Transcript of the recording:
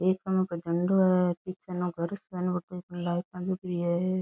एक केन को झंडों है --